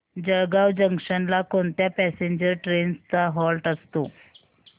Jalgaon junction ला कोणत्या passenger trains चा हॉल्ट असतो